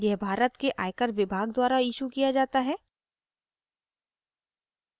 यह भारत के आयकर विभाग द्वारा इशू किया जाता है